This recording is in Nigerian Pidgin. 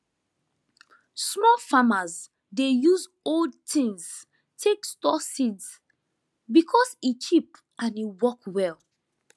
small farmers dey use old tins take store seeds because e cheap and e work well